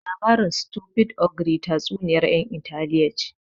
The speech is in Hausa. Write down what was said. Labarin Stupid ogre tatsuniyar yan Italiya ne